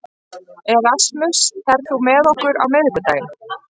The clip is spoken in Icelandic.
Erasmus, ferð þú með okkur á miðvikudaginn?